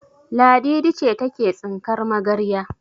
Ladidi ce take tsinkar magarya.